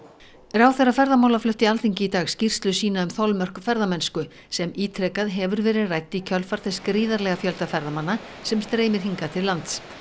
ráðherra ferðamála flutti Alþingi í dag skýrslu sína um þolmörk ferðamennsku sem ítrekað hefur verið rædd í kjölfar þess gríðarlega fjölda ferðamanna sem streymir hingað til lands